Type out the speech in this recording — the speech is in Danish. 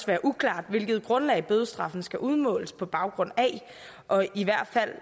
være uklart hvilket grundlag en bødestraf skal udmåles på baggrund af og i hvert fald